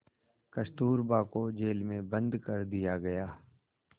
कस्तूरबा को जेल में बंद कर दिया गया